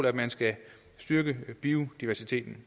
at man skal styrke biodiversiteten